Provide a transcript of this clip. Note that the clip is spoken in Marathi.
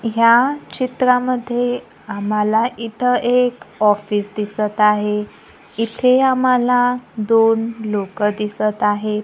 ह्या चित्रामध्ये आम्हाला इथं एक ऑफिस दिसत आहे इथे आम्हाला दोन लोकं दिसत आहेत.